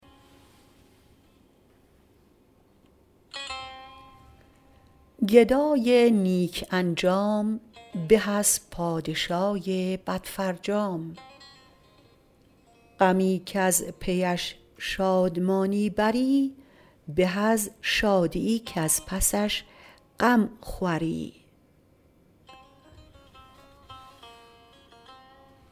گدای نیک انجام به از پادشای بد فرجام غمی کز پیش شادمانی بری به از شادیی کز پسش غم خوری